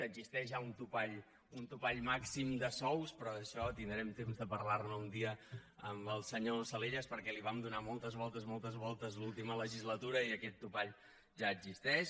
existeix ja un topall un topall màxim de sous però d’això tindrem temps de parlar ne un dia amb el senyor salellas perquè hi vam donar moltes voltes moltes voltes l’última legislatura i aquest topall ja existeix